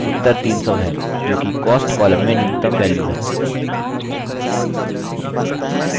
ध्यान दें कि उत्तर 300 है जोकि cost column में न्यूनतम वैल्यू है